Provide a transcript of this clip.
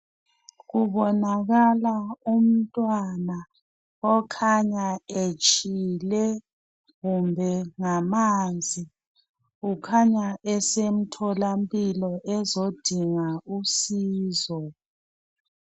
Kubonakala umntwana okhanya etshile kumbe ngamanzi kukhanya esemtholampilo ezodinga usizo.